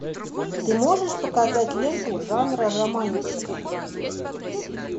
ты можешь показать ленту жанра романтика